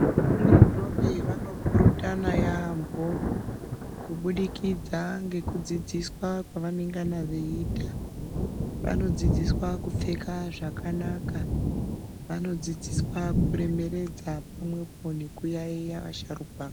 Nendombi vanopurutana yaamho, kubudikidza ngekudzidziswa kwavanengana veiitwa. Vanodzidziswa kupfeka zvakanaka. Vanodzidziswa kuremekedza nekuyaiya vasharukwa.